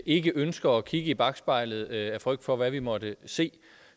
ikke ønsker at kigge i bakspejlet af frygt for hvad vi måtte se